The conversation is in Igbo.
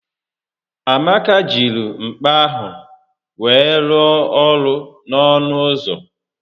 Amaka jiri mkpa ahụ wee rụọ ọrụ n'ọnụ ụzọ